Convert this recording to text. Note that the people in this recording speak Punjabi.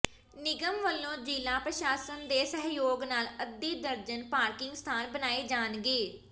ਨਿਗਮ ਵਲੋਂ ਜ਼ਿਲ੍ਹਾ ਪ੍ਰਸ਼ਾਸਨ ਦੇ ਸਹਿਯੋਗ ਨਾਲ ਅੱਧੀ ਦਰਜਨ ਪਾਰਕਿੰਗ ਸਥਾਨ ਬਣਾਏ ਜਾਣਗੇ